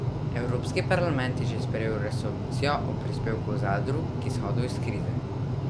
Evropski parlament je že sprejel resolucijo o prispevku zadrug k izhodu iz krize.